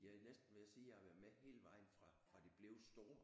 Jeg er næsten ved at sige at jeg har været med hele vejen fra fra de blev store